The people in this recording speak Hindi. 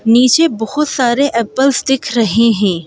नीचे बहुत सारे एप्लस दिख रहे हैं।